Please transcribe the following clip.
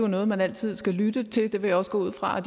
noget man altid skal lytte til det vil jeg også gå ud fra